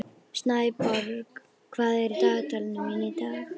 Snæborg, hvað er í dagatalinu mínu í dag?